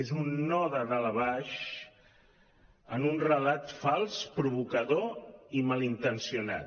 és un no de dalt a baix en un relat fals provocador i malintencionat